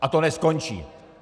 A to neskončí.